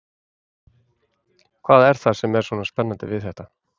Hvað er það sem er svona spennandi við þetta?